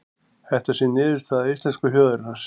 Þetta sé niðurstaða íslensku þjóðarinnar